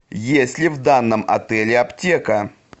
есть ли в данном отеле аптека